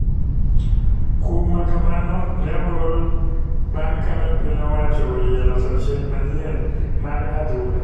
Kum makamano ne ogol banf kane piny owacho oyie loso chik manyien mar adhula.